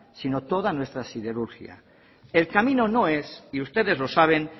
sino toda nuestra siderurgia el camino no es y ustedes los saben